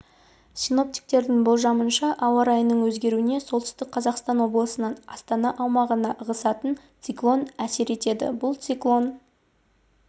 синоптиктердің болжамынша ауа райының өзгеруіне солтүстік қазақстан облысынан астана аумағына ығысатын циклон әсер етеді бұл циклон